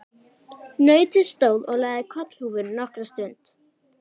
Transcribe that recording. Nautið stóð og lagði kollhúfur nokkra stund.